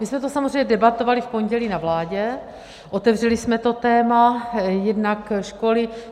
My jsme to samozřejmě debatovali v pondělí na vládě, otevřeli jsme to téma, jednak školy.